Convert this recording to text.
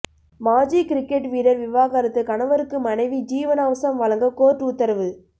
மாஜி கிரிக்கெட் வீரர் விவாகரத்து கணவருக்கு மனைவி ஜீவனாம்சம் வழங்க கோர்ட் உத்தரவு